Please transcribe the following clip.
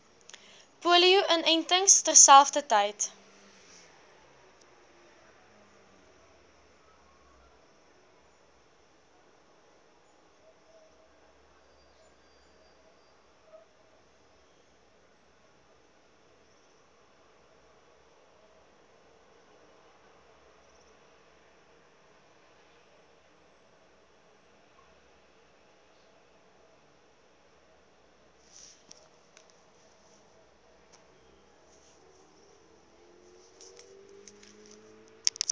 polio inentings terselfdertyd